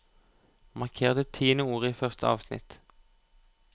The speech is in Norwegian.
Marker det tiende ordet i første avsnitt